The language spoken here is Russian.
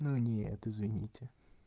ну нет извините